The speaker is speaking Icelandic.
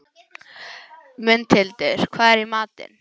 Mundhildur, hvað er í matinn?